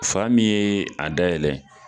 Fa min ye a dayɛlɛ